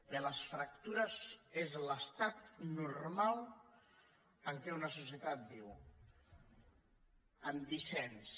bé les fractures són l’estat normal en què una societat viu amb dissens